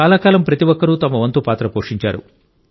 చాలా కాలం ప్రతి ఒక్కరూ తమ వంతు పాత్ర పోషించారు